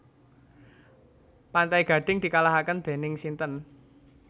Pantai Gading dikalahaken dening sinten